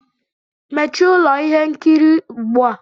Mechie ụlọ ihe nkiri ugbu a!